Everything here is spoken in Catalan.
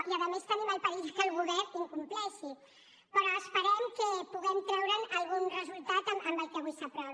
i a més tenim el perill que el govern la incompleixi però esperem que puguem treure’n algun resultat amb el que avui s’aprovi